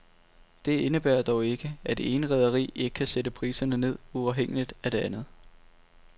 Det indebærer dog ikke, at det ene rederi ikke kan sætte priserne ned uafhængigt af det andet.